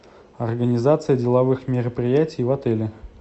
организация деловых мероприятий в отеле